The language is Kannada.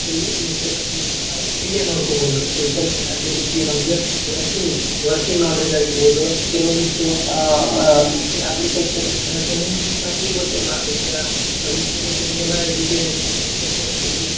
ಯಾವದೇ ದೇಶದಲ್ಲಿ ಇರ್ತಕ್ಕಂತದನ್ನ ನಾವು ಇಲ್ಲಿಯೆ ನೋಡ್ಕೊಬಹುದು social media ದ ಈ ರೀತಿ ನಮಗ working working knowledge ಆಗಿರಬಹುದು ಕೆಲವೊಂದಿಷ್ಟ ಅಹ್ agriculture ಕೆಲವೊಂದಿಷ್ಟ ನಮಗೆ ಗೊತ್ತಿರಲ್ಲಾ ಈಗಾ ನಮ್ಮ ಪೂರ್ವಜರಿಗೆಲ್ಲ edu~ agriculture ಬಗ್ಗೆ.